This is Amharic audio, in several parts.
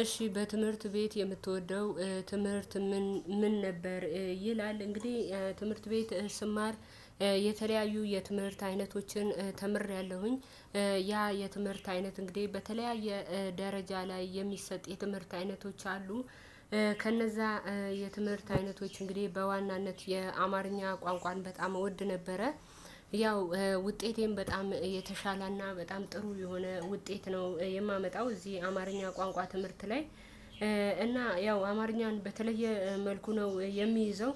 እሺ በትምህርት ቤት የምትወደው ትምህርት ምን ምን ነበር ይላል እንግዲህ ትምህርት ቤት ስማር የተለያዩ የትምህርት አይነቶችን ተምሬያለሁኝ ያ የትምህርት አይነት እንግዲህ በተለያየ ደረጃ ላይ የሚሰጥ የትምህርት አይነቶች አሉ ከነዛ የትምህርት አይነቶች እንግዲህ በዋናነት የአማርኛ ቋንቋን በጣም እወድ ነበረ ያው ውጤቴን በጣም የተሻለና በጣም ጥሩ የሆነ ውጤት ነው የማመጣው እዚህ አማርኛ ቋንቋ ትምህርት ላይ እና ያው አማርኛን በተለየ መልኩ ነው የሚይዘው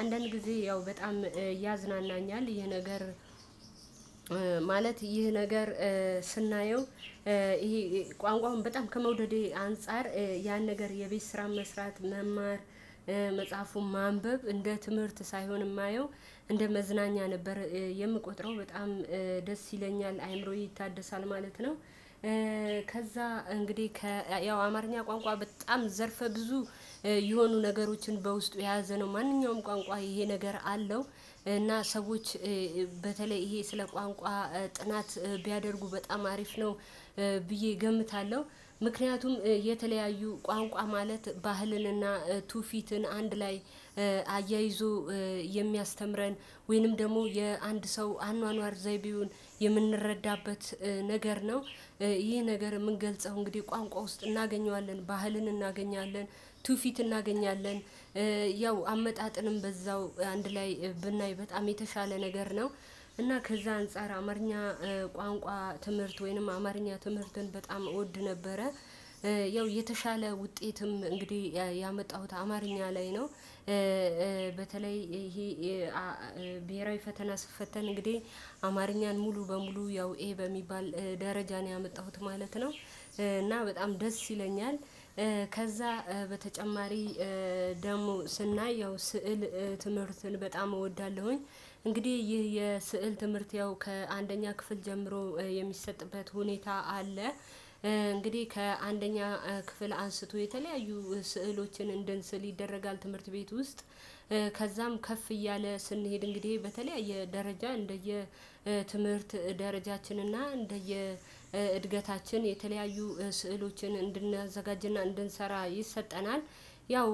አንዳንድ ጊዜ ያው በጣም ያዝናናኛል ይሄ ነገር ማለት ይህ ነገር ስናየው ይሄ ቋንቋውን በጣም ከመውደዴ አንፃር ያን ነገር የቤት ስራ መስራት መማር መጽሐፉን ማንበብ እንደ ትምህርት ሳይሆን የማየው እንደ መዝናኛ ነበር የምቆጥረው በጣም ደስ ይለኛል አይምሮዬ ይታደሳል ማለት ነው ከዛ እንግዲህ ያው አማርኛ ቋንቋ በጣም ዘርፈ ብዙ የሆኑ ነገሮችን በውስጡ የያዘ ነው ማንኛውም ቋንቋ ይሄ ነገር አለው እና ሰዎች በተለይ ይሄ ስለ ቋንቋ ጥናት ቢያደርጉ በጣም አሪፍ ነው ብዬ እገምታለሁ ምክንያቱም የተለያዩ ቋንቋ ማለት ባህልንና ቱፊትን አንድ ላይ አያይዞ የሚያስተምረን ወይንም ደግሞ የአንድ ሰው አኗኗር ዘይቤውን የምንረዳበት ነገር ነው ይህ ነገር የምንገልጸው እንግዲህ ቋንቋ ውስጥ እናገኘዋለን ባህልን እናገኛለን ቱፊት እናገኛለን ያው አመጣጥንም በዛው አንድ ላይ ብናይ በጣም የተሻለ ነገር ነው እና ከዛ አንፃር አማርኛ ቋንቋ ትምህርት ወይንም አማርኛ ትምህርትን በጣም እወድ ነበረ ያው የተሻለ ውጤትም እንግዲህ ያመጣሁት አማርኛ ላይ ነው በተለይ ይሄ ብሄራዊ ፈተና ስትፈተን እንግዲህ አማርኛን ሙሉ በሙሉ ያው ይሄ በሚባል ደረጃ ነው ያመጣሁት ማለት ነው እና በጣም ደስ ይለኛል ከዛ በተጨማሪ ደግሞ ስናይ ያው ስዕል ትምህርትን በጣም እወዳለሁኝ እንግዲህ ይህ የስዕል ትምህርት ያው ከአንደኛ ክፍል ጀምሮ የሚሰጥበት ሁኔታ አለ እንግዲህ ከአንደኛ ክፍል አንስቶ የተለያዩ ስዕሎችን እንደንስል ይደረጋል ትምህርት ቤት ውስጥ ከዛም ከፍ እያለ ስንሄድ እንግዲህ በተለይ የደረጃ እንደየ ትምህርት ደረጃችን እና እንደየ እድገታችን የተለያዩ ስዕሎችን እንድናዘጋጅና እንድንሰራ ይሰጠናል ያው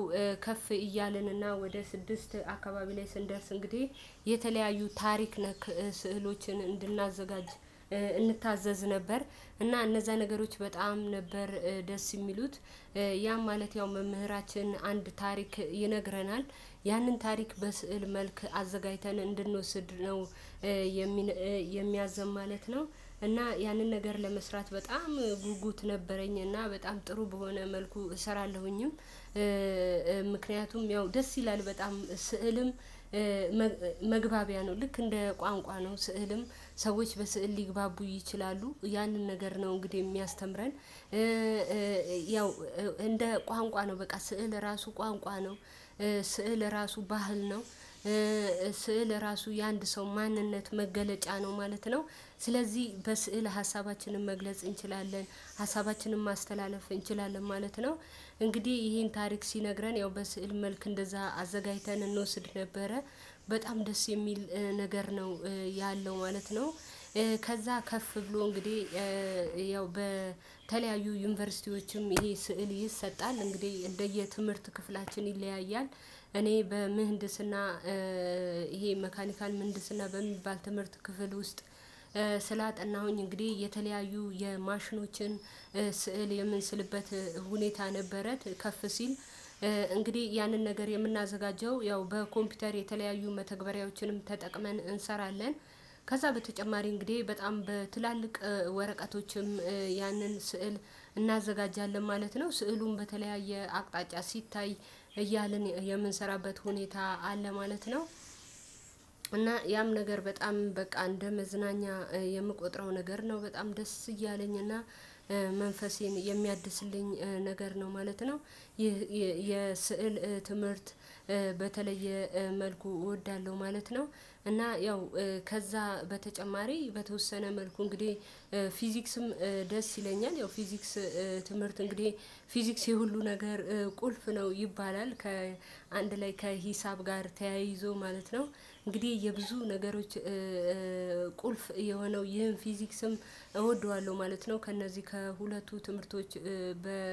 ከፍ እያልንና ወደ ስድስት አካባቢ ላይ ስንደርስ እንግዲህ የተለያዩ ታሪክ ነክ ስዕሎችን እንድናዘጋጅ እንታዘዝ ነበር እና እነዛ ነገሮች በጣም ነበር ደስ የሚሉት ያም ማለት ያው መምህራችን አንድ ታሪክ ይነግረናል። ያንን ታሪክ በስዕል መልክ አዘጋጅተን እንድንወስድ ነው የሚነ የሚያዘን ማለት ነው፤ እና ያንን ነገር ለመስራት በጣም ጉጉት ነበረኝ እና በጣም ጥሩ በሆነ መልኩ እሰራለሁኝም። ምክንያቱም ያው ደስ ይላል በጣም ስዕልም መግባቢያ ነው። ልክ እንደ ቋንቋ ነው ስዕልም ሰዎች በስዕል ሊግባቡ ይችላሉ። ያንን ነገር ነው እንግዲህ የሚያስተምረን ያው እንደ ቋንቋ ነው በቃ ስዕል ራሱ ቋንቋ ነው። ስዕል ራሱ ባህል ነው። ስዕል ራሱ የአንድ ሰው ማንነት መገለጫ ነው ማለት ነው። ስለዚህ በስዕል ሀሳባችንን መግለጽ እንችላለን፣ ሀሳባችንን ማስተላለፍ እንችላለን ማለት ነው። እንግዲህ ይሄን ታሪክ ሲነግረን ያው በስዕል መልክ እንደዛ አዘጋጅተን እንወስድ ነበረ። በጣም ደስ የሚል ነገር ነው ያለው ማለት ነው። ከዛ ከፍ ብሎ እንግዲህ ያው በተለያዩ ዩኒቨርሲቲዎችም ይሄ ስዕል ይሰጣል። እንግዲህ እንደየትምህርት ክፍላችን ይለያያል። እኔ በምህንድስና ይሄ መካኒካል ምህንድስና በሚባል ትምህርት ክፍል ውስጥ ስላጠናሁኝ እንግዲህ የተለያዩ የማሽኖችን ስዕል የምንስልበት ሁኔታ ነበረ ከፍ ሲል እንግዲህ ያንን ነገር የምናዘጋጀው ያው በኮምፒውተር የተለያዩ መተግበሪያዎችንም ተጠቅመን እንሰራለን። ከዛ በተጨማሪ እንግዲህ በጣም በትላልቅ ወረቀቶችም ያንን ስዕል እናዘጋጃለን ማለት ነው። ስዕሉም በተለያየ አቅጣጫ ሲታይ እያልን የምንሰራበት ሁኔታ አለ ማለት ነው፤ እና ያም ነገር በጣም በቃ እንደ መዝናኛ የምቆጥረው ነገር ነው በጣም ደስ እያለኝ እና መንፈሴን የሚያድስልኝ ነገር ነው ማለት ነው። ይህ የስዕል ትምህርት በተለየ መልኩ እወዳለሁ ማለት ነው፤ እና ያው ከዛ በተጨማሪ በተወሰነ መልኩ እንግዲህ ፊዚክስም ደስ ይለኛል። ያው ፊዚክስ ትምህርት እንግዲህ ፊዚክስ የሁሉ ነገር ቁልፍ ነው ይባላል። ከአንድ ላይ ከሂሳብ ጋር ተያይዞ ማለት ነው። እንግዲህ የብዙ ነገሮች ቁልፍ የሆነው ይህን ፊዚክስም እወደዋለሁ ማለት ነው። ከእነዚህ ከሁለቱ ትምህርቶች በ